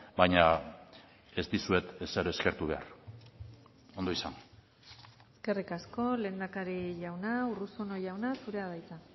baina ez dizuet ezer eskertu behar ondo izan eskerrik asko lehendakari jauna urruzuno jauna zurea da hitza